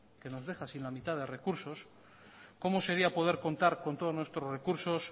que nos deja sin la mitad de recursos cómo sería poder contar con todos nuestros recursos